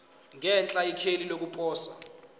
ngenhla ikheli lokuposa